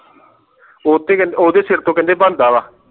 ਉਤੋਂ ਕਹਿੰਦੇ ਓਹਦੇ ਸਰ ਤੋਂ ਕਹਿੰਦੇ ਬੰਦਾਗਾ